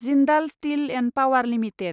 Jindal steel & power limited